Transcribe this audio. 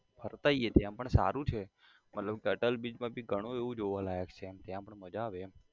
ફરતા આઇએ ત્યાં પણ સારું છે મતલબ કી અટલ bridge મા ભી ઘણું એવું જોવા લાયક છે ત્યાં પણ મજા આવે એમ